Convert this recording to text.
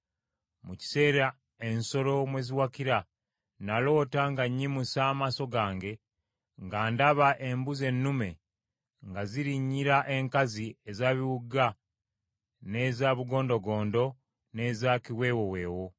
“Mu kiseera ensolo mwe ziwakira, naloota nga nnyimusa amaaso gange nga ndaba embuzi ennume nga zirinyira enkazi eza biwuuga n’eza bugondogondo n’eza kiweewoweewo.